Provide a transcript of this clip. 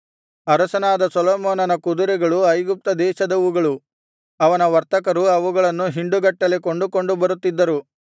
ಅರಸನಾದ ಸೊಲೊಮೋನನ ಕುದುರೆಗಳು ಐಗುಪ್ತ ದೇಶದವುಗಳು ಅವನ ವರ್ತಕರು ಅವುಗಳನ್ನು ಹಿಂಡುಗಟ್ಟಲೆ ಕೊಂಡುಕೊಂಡು ಬರುತ್ತಿದ್ದರು